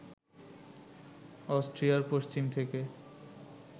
অস্ট্রিয়ার পশ্চিম থেকে